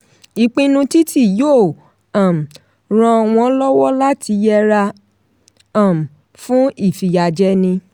ìpinnu títi yóò um ràn wọ́n lọ́wọ́ láti yẹra um fún ìfiyàjẹni.